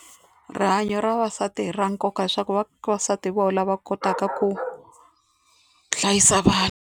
Rihanyo ra vavasati i ra nkoka hileswaku vavasati hi vona va kotaka ku hlayisa vana.